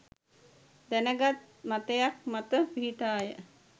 දැන ගත් මතයක් මත පිහිටාය.